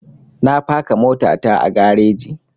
Na faka mota ta a gareji